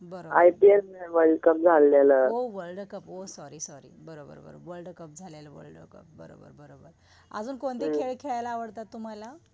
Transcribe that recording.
बरोबर हो world cup हो सरी सारी बरोबर बरोबर वर्ल्डकप झालेल वर्ल्डकप बरोबर बरोबर